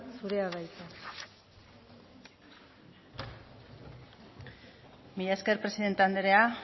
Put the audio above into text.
zurea da hitza mila esker presidente anderea